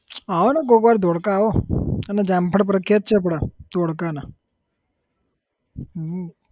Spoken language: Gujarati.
આવોને કોક વાર ધોળકા આવો અને જામફળ પ્રખ્યાત છે આપણા ધોળકાના હમ